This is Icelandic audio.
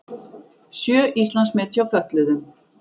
Sjö Íslandsmet hjá fötluðum